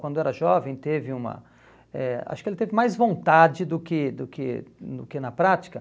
Quando era jovem, teve uma... eh Acho que ele teve mais vontade do que do que no que na prática.